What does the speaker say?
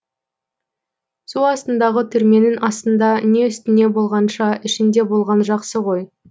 су астындағы түрменің астында не үстінде болғанша ішінде болған жақсы ғой